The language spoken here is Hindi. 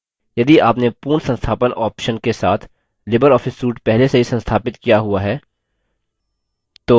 यदि आपने पूर्ण संस्थापन option के साथ libreoffice suite पहले से ही संस्थापित किया हुआ है